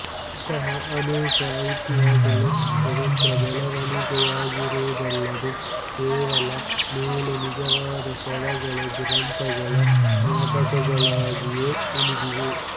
ಅಂಥ ಅನೇಕ ಐತಿಹ್ಯಗಳು ಸ್ವತಂತ್ರ ಬೆಳೆವಣಿಗೆಗಳಾಗಿರುವುದಲ್ಲದೆ ಕೆಲವು ವೇಳೆ ನಿಜವಾದ ಸ್ಥಳಗಳು ದುರಂತಗಳ ಜ್ಞಾಪಕಗಳಾಗಿಯೂ ಉಳಿದಿವೆ